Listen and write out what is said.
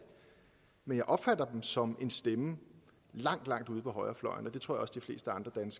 men jeg opfatter dem som en stemme langt langt ude på højrefløjen og det tror